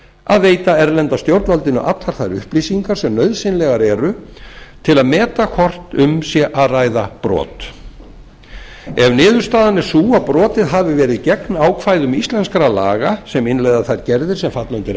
að veita erlenda stjórnvaldinu allar þær upplýsingar sem nauðsynlegar eru til að meta hvort um sé að ræða brot ef niðurstaðan er sú að brotið hafi verið gegn ákvæðum íslenskra laga sem innleiða þær gerðir sem falla undir